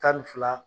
Tan ni fila